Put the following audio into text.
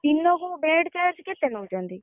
ଦିନକୁ bed charge କେତେ ନଉଛନ୍ତି?